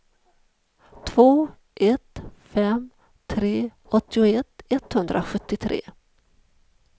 två ett fem tre åttioett etthundrasjuttiotre